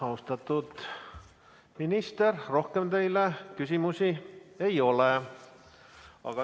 Austatud minister, rohkem küsimusi teile ei ole.